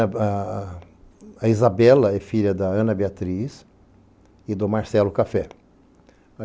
A Isabela é filha da Ana Beatriz e do Marcelo Café.